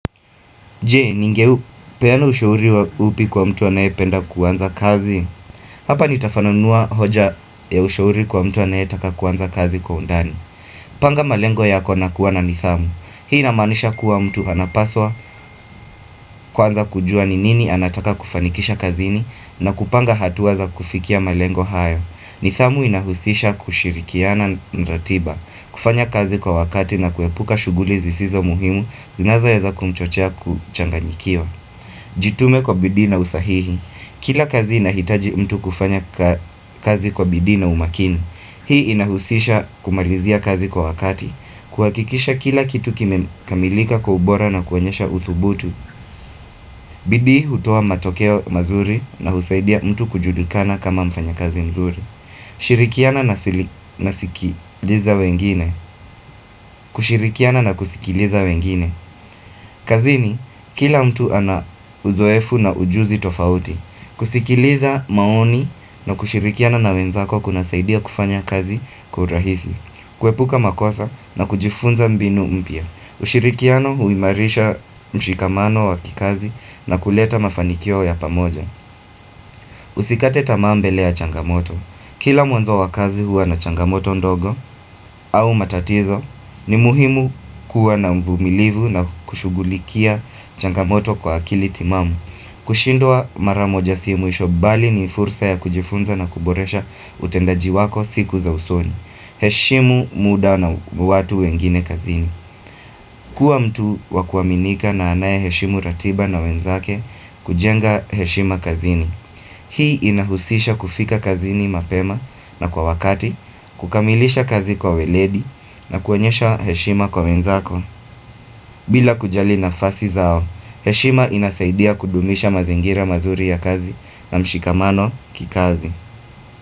Je, ningepeyana ushauri upi kwa mtu anaye penda kuanza kazi? Hapa nitafananua hoja ya ushauri kwa mtu anaye taka kuanza kazi kwa undani. Panga malengo yako na kuwa na nidhamu. Hii inamanisha kuwa mtu anapaswa, kwanza kujua ni nini anataka kufanikisha kazini, na kupanga hatua za kufikia malengo haya. Nidhamu inahusisha kushirikiana na ratiba, kufanya kazi kwa wakati na kuepuka shughuli zisizo muhimu, zinazoweza kumchochea kuchanganyikiwa. Jitume kwa bidii na usahihi. Kila kazi inahitaji mtu kufanya kazi kwa bidii na umakini. Hii inahusisha kumarizia kazi kwa wakati. Kuhakikisha kila kitu kime kamilika kwa ubora na kuonyesha uthubutu. Bidii hutoa matokeo mazuri na husaidia mtu kujulikana kama mfanya kazi mzuri. Shirikiana na sikiliza wengine kushirikiana na kuzikiliza wengine kazini, kila mtu ana uzoefu na ujuzi tofauti kusikiliza maoni na kushirikiana na wenzako kuna saidia kufanya kazi kwa urahisi Kwepuka makosa na kujifunza mbinu mpya ushirikiano huimarisha mshikamano wa kikazi na kuleta mafanikio ya pamoja Usikate tamaa mbele changamoto Kila mwanzo wakazi huwa na changamoto ndogo au matatizo ni muhimu kuwa na mvumilivu na kushugulikia changamoto kwa akili timamu kushindwa maramoja si mwisho bali ni fursa ya kujifunza na kuboresha utendaji wako siku za usoni heshimu muda na watu wengine kazini Kua mtu wakuaminika na anaye heshimu ratiba na wenzake kujenga heshima kazini Hii inahusisha kufika kazini mapema na kwa wakati, kukamilisha kazi kwa weledi na kuonyesha heshima kwa wenzako. Bila kujali nafasi zao, heshima inasaidia kudumisha mazingira mazuri ya kazi na mshikamano kikazi.